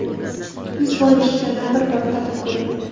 Yuz bor eshitgandan bir bor tatib ko‘ring!